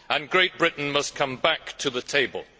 Great Britain must come back to the table.